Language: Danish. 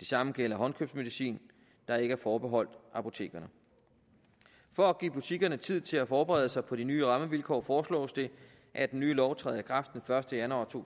det samme gælder håndkøbsmedicin der ikke er forbeholdt apotekerne for at give butikkerne tid til at forberede sig på de nye rammevilkår foreslås det at den nye lov træder i kraft den første januar to